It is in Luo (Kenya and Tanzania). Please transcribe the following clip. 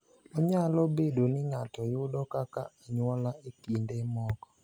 Onyalo bedo ni ng’ato yudo kaka anyuola e kinde moko.